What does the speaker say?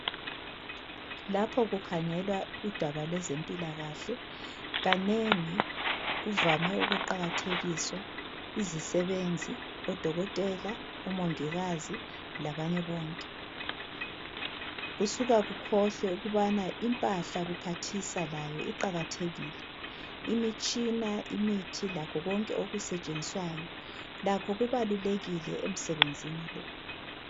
Lapho kukhangelwa udaba lwezempilakahle kanengi kuvame ukuqakathekiswa izisebenzi, odokotela, omongikazi labanye bonke. Kusuka kukhohlwe ukubana impahla kuphathisa layo iqakathekile. Imitshina, imithi lakho konke okusetshenziswayo lakho kubalulekile emsebenzini lo